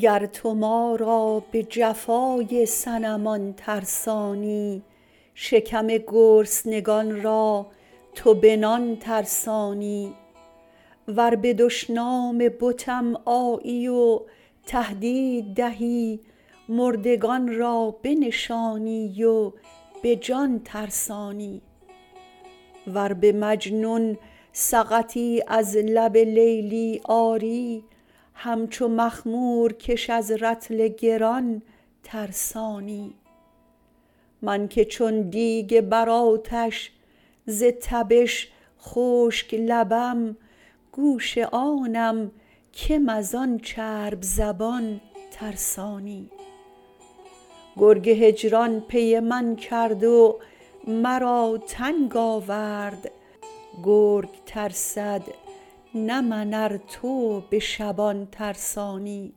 گر تو ما را به جفای صنمان ترسانی شکم گرسنگان را تو به نان ترسانی و به دشنام بتم آیی و تهدید دهی مردگان را بنشانی و به جان ترسانی ور به مجنون سقطی از لب لیلی آری همچو مخمورکش از رطل گران ترسانی من که چون دیگ بر آتش ز تبش خشک لبم گوش آنم کم از آن چرب زبان ترسانی گرگ هجران پی من کرد و مرا ننگ آورد گرگ ترسد نه من ار تو به شبان ترسانی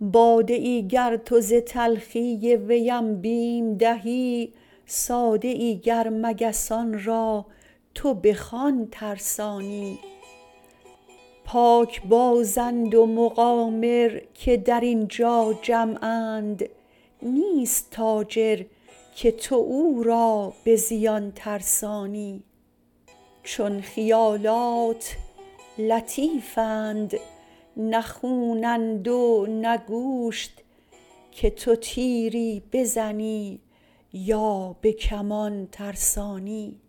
باده ای گر تو ز تلخی ویم بیم دهی ساده ای گر مگسان را تو بخوان ترسانی پاکبازند و مقامر که در این جا جمعند نیست تاجر که تو او را به زیان ترسانی چون خیالات لطیفند نه خونند و نه گوشت که تو تیری بزنی یا به کمان ترسانی